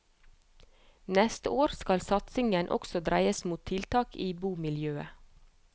Neste år skal satsingen også dreies mot tiltak i bomiljøet.